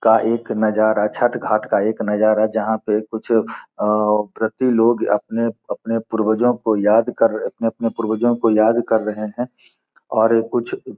का एक नजारा छठ घाट का एक नजारा जहाँ पे कुछ व्रती लोग अपने-अपने पूर्वजों को याद कर अपने-अपने पूर्वजों को याद कर रहे है और कुछ --